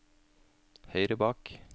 høyre bak